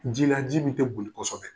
Ji la ji min tɛ boli kosɛbɛ.